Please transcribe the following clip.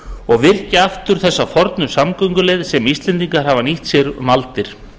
og virkja aftur þessa fornu samgönguleið sem íslendingar hafa nýtt sér um aldir